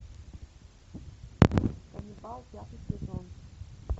ганнибал пятый сезон